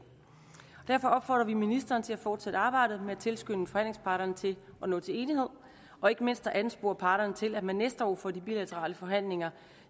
derfor opfordrer vi ministeren til at fortsætte arbejdet med at tilskynde forhandlingsparterne til at nå til enighed og ikke mindst at anspore parterne til at man næste år får de bilaterale forhandlinger